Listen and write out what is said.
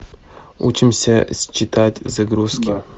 учимся считать загрузки